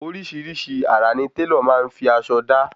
Orísirísi àrà ni Tẹ́lọ̀ maá fi aṣọ da